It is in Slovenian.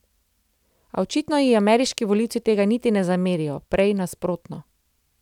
A očitno ji ameriški volivci tega niti ne zamerijo, prej nasprotno.